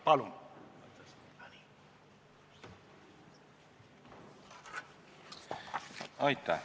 Palun!